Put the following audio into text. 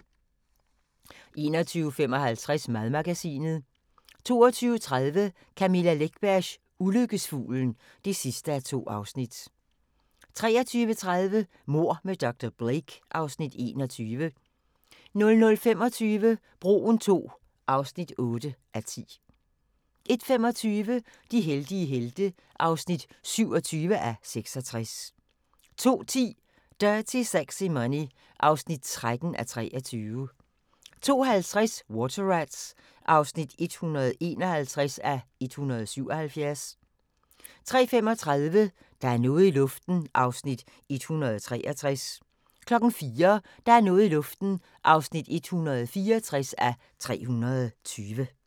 21:55: Madmagasinet 22:30: Camilla Läckbergs Ulykkesfuglen (2:2) 23:30: Mord med dr. Blake (Afs. 21) 00:25: Broen II (8:10) 01:25: De heldige helte (27:66) 02:10: Dirty Sexy Money (13:23) 02:50: Water Rats (151:177) 03:35: Der er noget i luften (163:320) 04:00: Der er noget i luften (164:320)